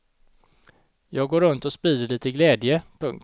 Jag går runt och sprider lite glädje. punkt